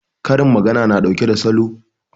Karin magana na ɗauke da Saƙo